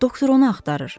Doktor onu axtarır.